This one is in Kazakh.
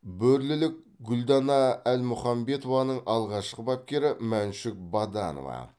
бөрлілік гүлдана әлмұханбетованың алғашқы бапкері мәншүк баданова